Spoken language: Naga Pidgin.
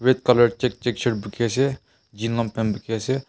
Red colour check check shirt bukhi ase Jean long pant bukhi ase.